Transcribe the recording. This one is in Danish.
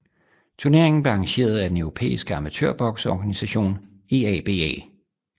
Turneringen blev arrangeret af den europæiske amatørbokseorganisation EABA